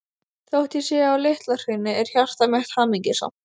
Þótt ég sé á Litla-Hrauni er hjarta mitt hamingjusamt.